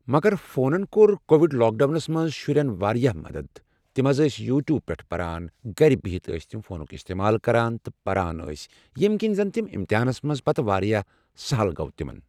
مگر فونن کوٚر کووِڈ لاک ڈاونس منٛز شُرٮ۪ن واریاہ مدد تِم حظ ٲسۍ یوٗٹوٗب پٮ۪ٹھ پران گرِ بِہِتھ أسۍ تٕم فونُک استعمال کران تہٕ پران ٲسۍ ییٚمہِ کِنۍ زن تِم امتحانس منٛز پتہٕ واریاہ سہل گوٚو تمن.